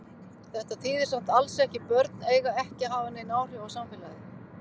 Þetta þýðir samt alls ekki börn eiga ekki að hafa nein áhrif á samfélagið.